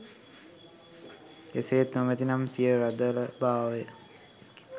එසේත් නොමැති නම් සිය රදළ භාවය